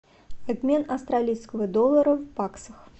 обмен австралийского доллара в баксах